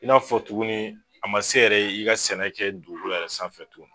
I n'a fɔ tuguni a ma se yɛrɛ ye i ka sɛnɛ kɛ dugukolo yɛrɛ sanfɛ tuguni